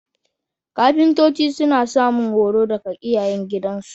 Kafintoci suna samun horo daga iyayengidansu